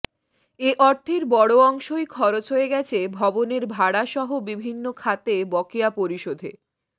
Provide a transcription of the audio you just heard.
এ অর্থের বড় অংশই খরচ হয়ে গেছে ভবনের ভাড়াসহ বিভিন্ন খাতে বকেয়া পরিশোধে